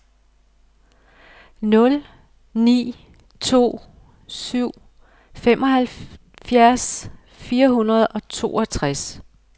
nul ni to syv femoghalvfjerds fire hundrede og toogtres